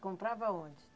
Comprava aonde?